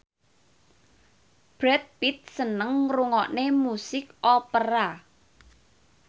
Brad Pitt seneng ngrungokne musik opera